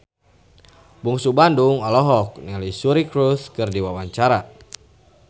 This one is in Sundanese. Bungsu Bandung olohok ningali Suri Cruise keur diwawancara